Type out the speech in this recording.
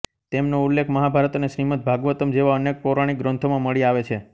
તેમનો ઉલ્લેખ મહાભારત અને શ્રીમદ્ ભાગવતમ્ જેવા અનેક પૌરાણિક ગ્રંથોમાં મળી આવે છે